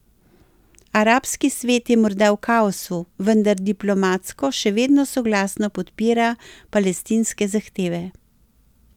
Arabski svet je morda v kaosu, vendar diplomatsko še vedno soglasno podpira palestinske zahteve.